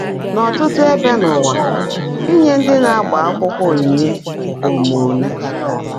N’ọ́tụ́tụ́ ébè n’ụ́wà, ínyé ndị́ ná-ágbá ákwụ́kwọ́ ónyínye bụ́ ómuené.